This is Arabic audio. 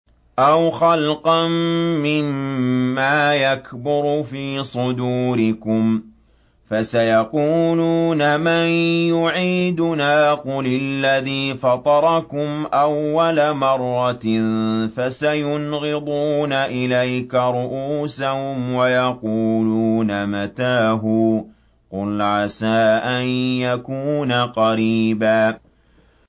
أَوْ خَلْقًا مِّمَّا يَكْبُرُ فِي صُدُورِكُمْ ۚ فَسَيَقُولُونَ مَن يُعِيدُنَا ۖ قُلِ الَّذِي فَطَرَكُمْ أَوَّلَ مَرَّةٍ ۚ فَسَيُنْغِضُونَ إِلَيْكَ رُءُوسَهُمْ وَيَقُولُونَ مَتَىٰ هُوَ ۖ قُلْ عَسَىٰ أَن يَكُونَ قَرِيبًا